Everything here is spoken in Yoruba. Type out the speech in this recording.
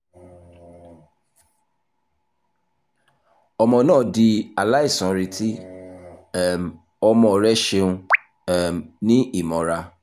ọmọ naa di alaisanreti um ọmọ rẹ ṣeun um ni imọra